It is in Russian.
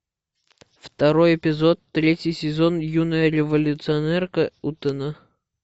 второй эпизод третий сезон юная революционерка утэна